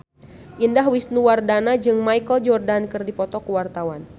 Indah Wisnuwardana jeung Michael Jordan keur dipoto ku wartawan